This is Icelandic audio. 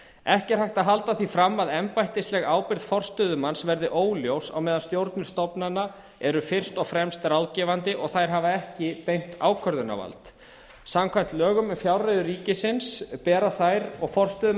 ekki er hægt að halda því fram að embættisleg ábyrgð forstöðumanns verði óljós á meðan stjórnir stofnananna eru fyrst og fremst ráðgefandi og þær hafi ekki beint ákvörðunarvald samkvæmt lögum um fjárreiður ríkisins bera þær og forstöðumenn